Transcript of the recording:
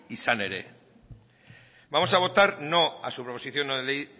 izan ere vamos a votar no a su proposición no de ley